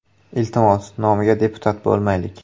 Iltimos, nomiga deputat bo‘lmaylik.